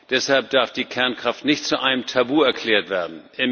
Deshalb darf die Kernkraft nicht zu einem Tabu erklärt werden.